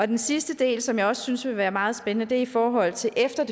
den sidste del som jeg også synes er meget spændende er i forhold til efter